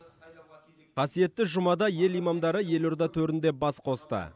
қасиетті жұмада ел имамдары елорда төрінде бас қосты